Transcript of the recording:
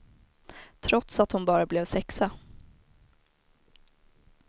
Trots att hon bara blev sexa.